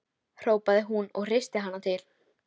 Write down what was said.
hrópaði hún og hristi hana til.